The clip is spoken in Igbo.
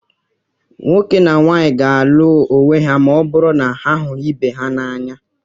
nwoke na nwaanyị ga-alụ onwe ha ma ọ bụrụ na ha hụrụ ibe ha n'anya